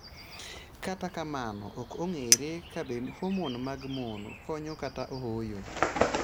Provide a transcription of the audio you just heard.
Kata kamano, ok ong'ere kabe homon mag mon konyo kata ooyo.